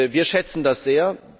Wir schätzen das sehr.